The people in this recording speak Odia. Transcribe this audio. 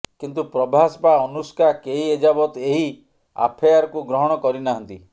କିନ୍ତୁ ପ୍ରଭାସ ବା ଅନୁଷ୍କା କେହି ଏଯାବତ ଏହି ଆଫାୟାରକୁ ଗ୍ରହଣ କରି ନାହାନ୍ତି